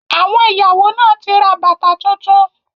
Àwọn ìyàwó náà ti ra bàtà tuntun.